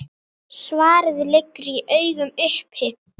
Svarið liggur í augum uppi.